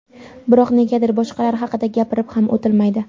Biroq negadir boshqalar haqida gapirib ham o‘tilmaydi.